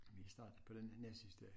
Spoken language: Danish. Vi startet på den næstsidste